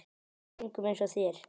Engum eins og þér.